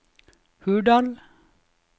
Hurdal